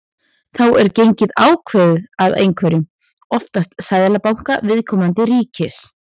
Þá er gengið ákveðið af einhverjum, oftast seðlabanka viðkomandi ríkis.